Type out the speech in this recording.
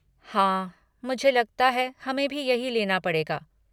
हाँ, मुझे लगता है हमें भी यही लेना पड़ेगा।